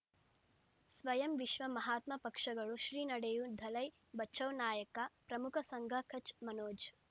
ಸ್ವಯಂ ವಿಶ್ವ ಮಹಾತ್ಮ ಪಕ್ಷಗಳು ಶ್ರೀ ನಡೆಯೂ ದಲೈ ಬಚೌ ನಾಯಕ ಪ್ರಮುಖ ಸಂಘ ಕಚ್ ಮನೋಜ್